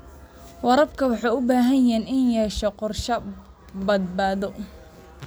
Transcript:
Waraabka wuxuu u baahan yahay inuu yeesho qorshayaal badbaado.